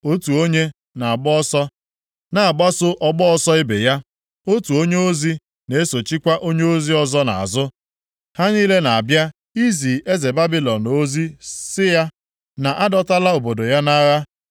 Otu onye na-agba ọsọ na-agbaso ọgba ọsọ ibe ya, otu onyeozi na-esochikwa onyeozi ọzọ nʼazụ; ha niile na-abịa izi eze Babilọn ozi sị ya na a dọtala obodo ya nʼagha,